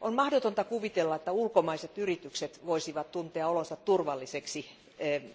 On mahdotonta kuvitella, että ulkomaiset yritykset voisivat tuntea olot turvallisiksi